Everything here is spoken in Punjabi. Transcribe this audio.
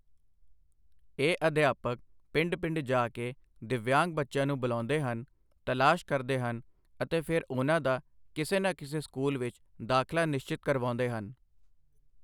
ਇਹ ਅਧਿਆਪਕ ਪਿੰਡ ਪਿੰਡ ਜਾ ਕੇ ਦਿੱਵਯਾਂਗ ਬੱਚਿਆਂ ਨੂੰ ਬੁਲਾਉਂਦੇ ਹਨ, ਤਲਾਸ਼ ਕਰਦੇ ਹਨ ਅਤੇ ਫਿਰ ਉਨ੍ਹਾਂ ਦਾ ਕਿਸੇ ਨਾ ਕਿਸੇ ਸਕੂਲ ਵਿੱਚ ਦਾਖਲਾ ਨਿਸ਼ਚਿਤ ਕਰਵਾਉਂਦੇ ਹਨ।